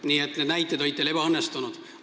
Nii et need näited olid teil ebaõnnestunud.